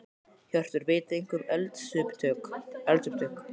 Hjörtur: Vitið þið eitthvað um eldsupptök?